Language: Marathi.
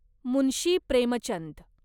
मुन्शी प्रेमचंद